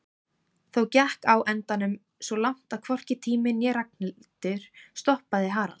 Þó gekk á endanum svo langt að hvorki tími né Ragnhildur stoppaði Harald.